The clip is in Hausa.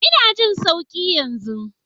Ina jin sauki yanzu.